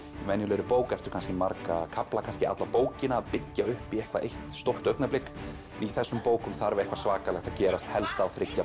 venjulegri bók ertu kannski marga kafla kannski alla bókina að byggja upp í eitthvað eitt stórt augnablik en í þessum bókum þarf eitthvað svakalegt að gerast helst á þriggja